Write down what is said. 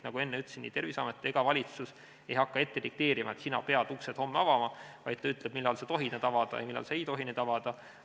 Nagu ma enne ütlesin, Terviseamet ega valitsus ei hakka dikteerima, et sina pead homme uksed avama, vaid ta ütleb, millal sa tohid need avada ja millal sa ei tohi neid avada.